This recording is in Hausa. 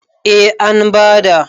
A an bada